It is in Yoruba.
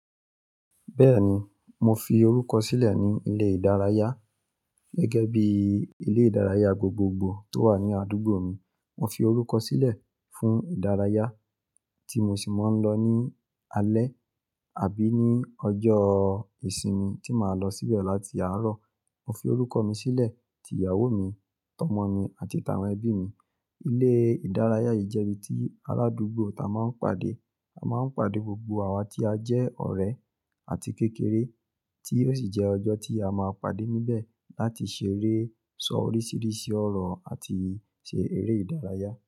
Bẹ́ẹ̀ni, mo fi orúkọ sílẹ̀ ní ilé ìdárayá gẹ́gẹ́ bí ilé ìdárayá gbogbogbò tó wà ní àdúgbò mi. Mo fi orúkọ sílẹ̀ fún ìdárayá tí mo sì máa ń lọ ní alẹ́ àbí ní ọjọ́ ìsinmi tí màá lọ síbẹ̀ láti àárọ̀. Mo fi orúkọ mi sílẹ̀, tí ìyàwó mi, tọ́mọ mi àti tàwọn ẹbí mi. Ilé ìdárayá yìí jẹ́ ibi tí aradùúgbò ta máa ń pàdé. A máa ń pàdé gbogbo àwa tí a jẹ́ ọ̀rẹ́ àti kékeré tí ó sì jẹ́ ọjọ́ tí a máa pàdé níbẹ̀ láti ṣeré, sọ oríṣiríṣi ọ̀rọ̀ àti ṣe eré ìdárayá.